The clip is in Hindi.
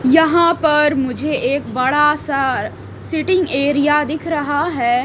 यहां पर मुझे एक बड़ा सा सिटिंग एरिया दिख रहा है।